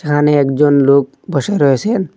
এহানে একজন লোক বসে রয়েসেন।